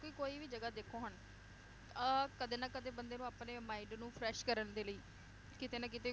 ਕਿ ਕੋਈ ਵੀ ਜਗਾਹ ਦੇਖੋ ਹੁਣ ਅਹ ਕਦੇ ਨਾ ਕਦੇ ਬੰਦੇ ਨੂੰ ਆਪਣੇ mind ਨੂੰ fresh ਕਰਨ ਦੇ ਲਈ ਕਿਤੇ ਨਾ ਕਿਤੇ